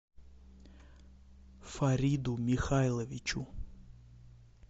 фариду михайловичу